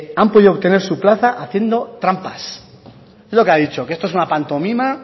han podido obtener su plaza haciendo trampas es lo que ha dicho que esto es una pantomima